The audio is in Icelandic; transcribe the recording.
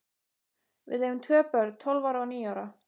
Við eigum tvö börn, tólf ára og níu ára.